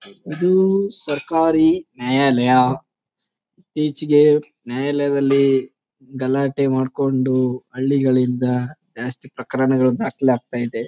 ಇದು ಸರಕಾರಿ ನ್ಯಾಯಾಲಯ ಈಚೆಗೆ ನ್ಯಾಯಾಲಯದಲ್ಲಿ ಗಲಾಟೆ ಮಾಡ್ಕೊಂಡು ಹಳ್ಳಿಗಳಿಂದ ಜಾಸ್ತಿ ಪ್ರಕರಣಗಳು ದಾಖಲಾಗುತ್ತ ಇದೆ.